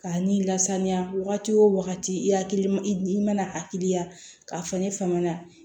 K'a n'i lasaniya wagati o wagati i hakili i i i mana hakili la k'a fɔ ne fama na